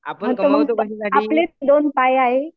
हां तर मग आपले दोन हात पाय आहेत